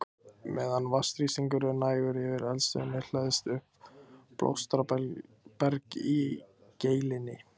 Meðan vatnsþrýstingur er nægur yfir eldstöðinni hleðst upp bólstraberg í geilinni.